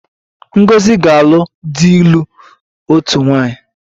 Ngozi ga-alụ di ịlụ otu nwaanyị